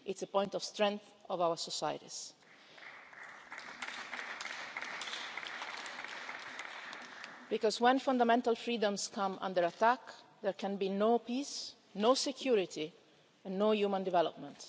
It's a point of strength of our societies. When fundamental freedoms come under attack there can be no peace, no security and no human development.